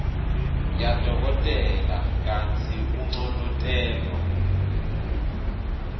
yadokotela kantsi unconotelwa